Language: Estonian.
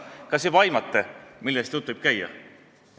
" Kas te juba aimate, millest jutt võib käia?